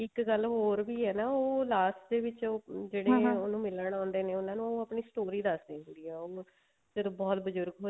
ਇੱਕ ਗੱਲ ਹੋਰ ਵੀ ਹੈ ਨਾ ਉਹ last ਦੇ ਵਿੱਚ ਉਹਨੂੰ ਮਿਲਣ ਆਉਂਦੇ ਨੇ ਉਹਨਾ ਨੂੰ ਆਪਣੀ story ਦੱਸ ਦੀ ਹੁੰਦੀ ਆ ਉਹ ਫ਼ੇਰ ਬਹੁਤ ਬਜੁਰਗ